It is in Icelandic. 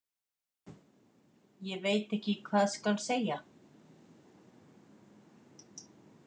Ég veit ekki hvað skal segja.